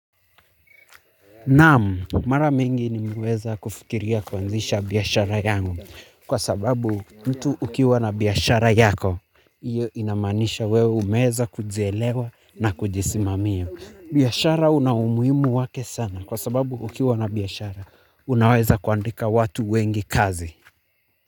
Naam, mara mingi nimeweza kufikiria kuanzisha biashara yangu kwa sababu mtu ukiwa na biashara yako, hiyo inamanisha wewe umeeza kujielewa na kujisimamia. Biashara una umuhimu wake sana kwa sababu ukiwa na biashara, unaweza kuandika watu wengi kazi.